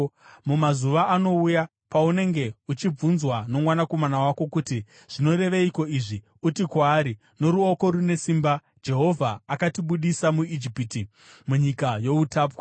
“Mumazuva anouya, paunenge uchibvunzwa nomwanakomana wako kuti, ‘Zvinoreveiko izvi?’ uti kwaari, ‘Noruoko rune simba Jehovha akatibudisa muIjipiti, munyika youtapwa.